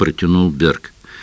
протянул берг